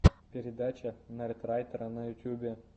передача нердрайтера на ютьюбе